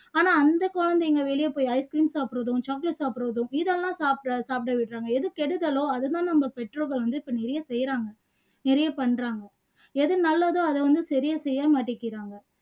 ஆனா அந்த குழந்தைங்க வெளிய போயி ice cream சாப்பிடுறதும் chocolate சாப்பிடுறதும் இதெல்லாம் சாப்பிட சாப்பிட விடுறாங்க எது கெடுதலோ அதை தான அவங்க பெற்றோர்கள் வந்து நிறைய செய்யுறாங்க நிறைய பண்றாங்க எது நல்லதோ அதை வந்து சரியா செய்யவே மாட்டீக்குறாங்க